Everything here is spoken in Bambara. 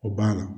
O banna